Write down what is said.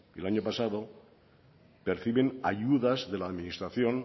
el año pasado perciben ayudas de la administración